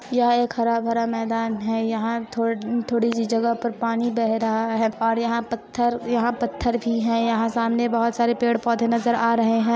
यह एक हरा-भरा मैदान है यहां थोड़ थोड़ी सी जगह पर पानी बह रहा है और यहां पत्थर यहां पत्थर भी है यहां सामने बहुत सारे पेड़-पौधे नजर आ रहे हैं।